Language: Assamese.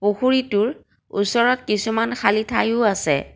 পুখুৰীটোৰ ওচৰত কিছুমান খালী ঠাইও আছে।